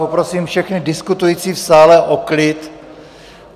Poprosím všechny diskutující v sále o klid.